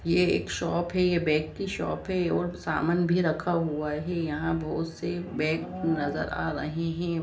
ये एक शॉप है ये बैग की शॉप है और सामान भी रखा हुआ है यहां बहुत से बैग नजर आ रहे हैं।